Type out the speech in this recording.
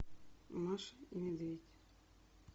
маша и медведь